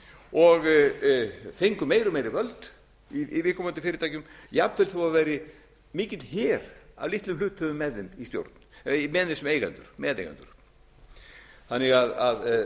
og fengu meiri og meiri völd í viðkomandi fyrirtækjum jafnvel þó það væri mikill her af litlum hluthöfum með þeim í stjórn með þeim sem eigendur meðeigendur þannig að